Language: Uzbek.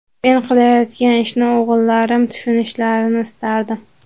Men qilayotgan ishni o‘g‘illarim tushunishlarini istardim.